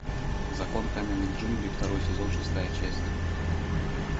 закон каменных джунглей второй сезон шестая часть